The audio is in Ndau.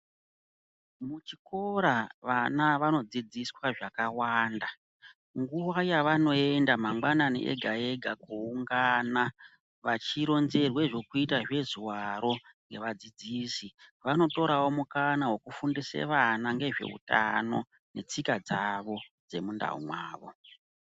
Kuchikora vana vanodzidziswa zvakawanda nguva yavanoenda mangwanani ega-ega kuungana vachironzerwa zvokuita zvezuvaro ngevadzidzisi, vanotorewo mukana wokufundise vana ngezveutano netsika dzavo dzemundau mwavo.